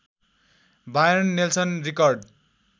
Byron Nelson record